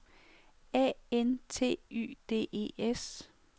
A N T Y D E S